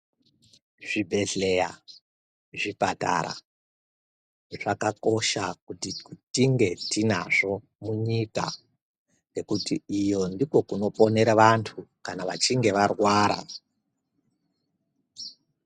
Zvibhedhlera zvipatara zvakakosha kuti tinge tinazvo munyika ngekuti iyo ndokunoponera vantu kana vachinge varwara.